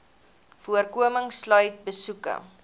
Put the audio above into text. voorkoming sluit besoeke